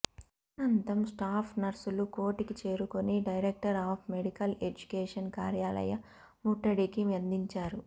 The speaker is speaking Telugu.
అనంతం స్టాఫ్ నర్సులు కోఠికి చేరుకుని డైరెక్టర్ ఆఫ్ మెడికల్ ఎడ్యుకేషన్ కార్యాలయ ముట్టడికి యత్నించారు